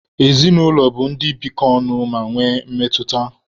Ezinụlọ bụ ndị bikọ ọnụ ma nwee mmetụta.